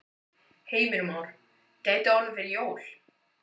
Heimir Már: Gæti orðið fyrir jól?